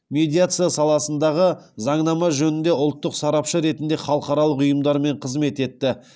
медиация саласындағы заңнама жөнінде ұлттық сарапшы ретінде халықаралық ұйымдармен қызмет етті